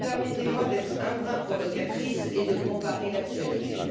Permettez moi d'être un brin provocatrice et de comparer l'actualité.